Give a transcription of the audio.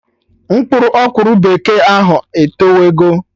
Mkpụrụ ọkwụrụ bekee ahụ etowe go